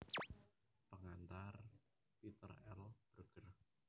Pengantar Peter L Berger